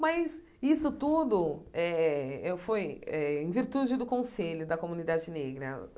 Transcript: Mas isso tudo eh eu foi eh em virtude do conselho da comunidade negra.